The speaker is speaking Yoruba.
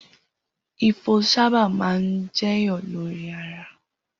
Ifo sábà máa ń jẹyọ lórí ara.